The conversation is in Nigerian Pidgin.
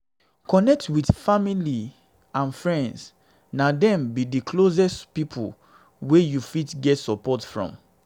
connect well with family and friends na dem be d closest pipo wey you fit get support from